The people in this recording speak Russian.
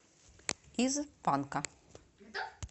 из панка